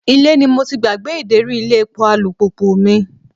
Ilé ni mo ti gbàgbé ideri ilé epo alùpùpù mi.